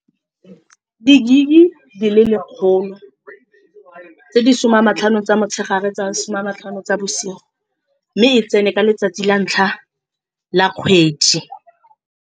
Di-gig di le lekgolo tse di some a matlhano tsa motshegare le tsa some a matlhano tsa bosigo, mme e tsene ka letsatsi la ntlha la kgwedi.